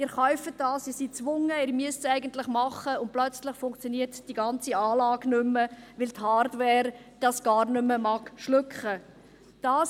Sie kaufen das – Sie sind gezwungen, Sie müssen es eigentlich tun –, und plötzlich funktioniert die ganze Anlage nicht mehr, weil die Hardware das gar nicht mehr schlucken mag.